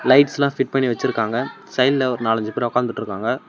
லைட்ஸ்லா fit பண்ணி வெச்சுருக்காங்க சைடுல ஒரு நாலஞ்சு பேர் உக்காந்துட்ருக்காங்க.